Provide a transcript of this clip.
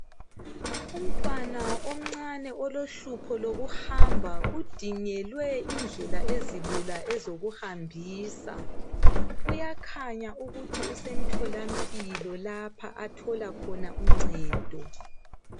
Umntwana omncane olohlupho lokuhamba udingelwe indlela ezilula ezokuhambisa uyakhanya ukuthi usemtholampilo lapha athola khona uncedo.